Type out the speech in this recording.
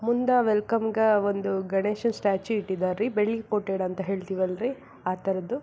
ಮುಂದ ವೆಲ್ಕಮ್ ಗ ಒಂದು ಗಣೇಶ ಸ್ಟ್ಯಾಚು ಇಟ್ಟಿದಾರ್ ರೀ ಬೆಳ್ಳಿ ಕೋಟೆಡ್ ಅಂತ ಹೇಳ್ಥಿವಿ ಅಲ್ರಿ ಆ ತರದ್ದು.